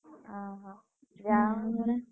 ଅହ ଯାହା ହଉ।